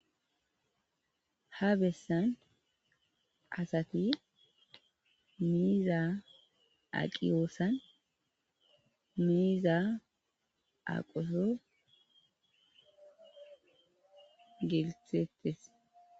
ha bessan asati miiza aqiyoosan miiza aqoso gelthettes